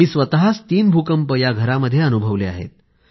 मी स्वतःच तीन भूकंप याच घरामध्ये अनुभवले आहेत